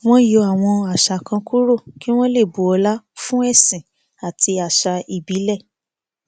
wọn yọ àwọn àṣà kan kúrò kí wọn lè bu ọlá fún ẹsìn àti àṣà ìbílẹ